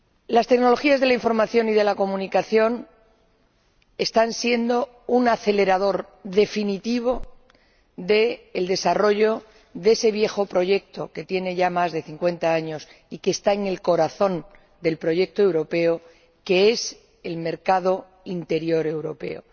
Las tecnologías de la información y de la comunicación están siendo un acelerador definitivo del desarrollo de ese viejo proyecto, que tiene ya más de 50 años y que está en el corazón del proyecto europeo, que es el mercado interior europeo.